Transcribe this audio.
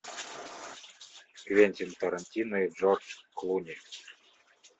квентин тарантино и джордж клуни